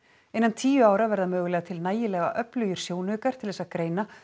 innan tíu ára verður mögulega til nægilega öflugir sjónaukar til þess að greina